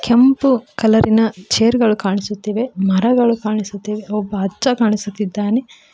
ಕೆಂಪು ಕಲರಿನ ಚೇರ್ ಗಳು ಕಾಣಿಸುತ್ತಿವೆ ಮರಗಳು ಕಾಣಿಸುತ್ತಿವೆ ಒಬ್ಬ ಅಜ್ಜ ಕಾಣಿಸುತ್ತಿದ್ದಾನೆ.